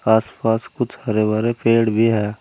आस पास कुछ हरे भरे पेड़ भी हैं।